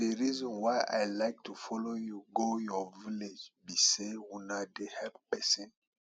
the reason why i like to follow you go your village be say una dey help person